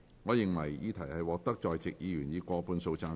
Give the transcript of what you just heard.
我認為議題獲得在席議員以過半數贊成。